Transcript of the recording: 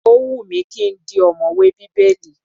Ó wù mí ki n di ọ̀mọ̀wè Bíbélì.